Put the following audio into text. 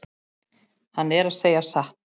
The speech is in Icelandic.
Hann er að segja satt.